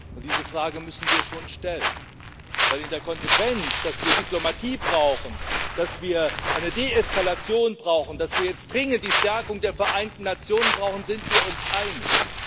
Und diese Frage müssen wir schon stellen, denn in der Konsequenz, dass wir Diplomatie brauchen, dass wir eine Deeskalation brauchen, dass wir jetzt dringend die Stärkung der Vereinten Nationen brauchen, sind wir uns einig.